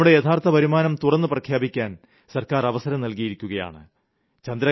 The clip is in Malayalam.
നമ്മുടെ യഥാർത്ഥ വരുമാനം തുറന്ന് പ്രഖ്യാപിക്കാൻ സർക്കാർ അവസരം നൽകിയിരിക്കുകയാണ്